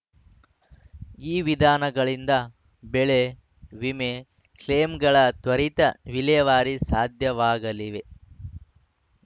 ಈ ವಿಧಾನಗಳಿಂದ ಬೆಳೆ ವಿಮೆ ಕ್ಲೇಮ್‌ಗಳ ತ್ವರಿತ ವಿಲೇವಾರಿ ಸಾಧ್ಯವಾಗಲಿವೆ